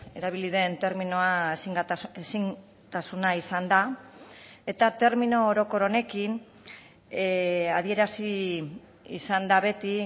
erabili den terminoa ezintasuna izan da eta termino orokor honekin adierazi izan da beti